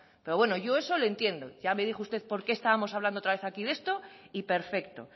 pero bueno yo eso lo entiendo ya me dijo usted porqué estábamos hablando otra vez aquí de esto y perfecto